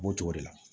U b'o cogo de la